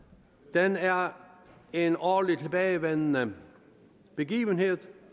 den er en årlig tilbagevendende begivenhed